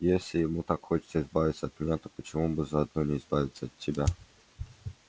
если ему так хочется избавиться от меня то почему бы заодно не избавиться и от тебя